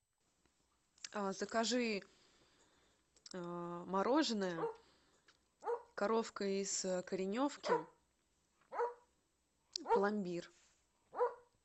закажи мороженое коровка из кореневки пломбир